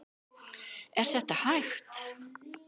Er þetta hægt?